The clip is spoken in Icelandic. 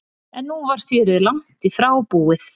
En nú var fjörið langt í frá búið.